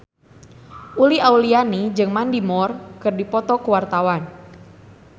Uli Auliani jeung Mandy Moore keur dipoto ku wartawan